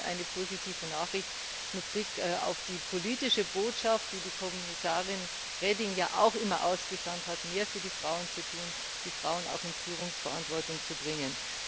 Also schon eine positive Nachricht mit Blick auf die politische Botschaft, die Kommissarin Reding ja auch immer ausgesandt hat, mehr für die Frauen zu tun, die Frauen auch in Führungsverantwortung zu bringen.